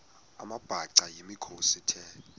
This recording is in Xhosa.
amabhaca yimikhosi the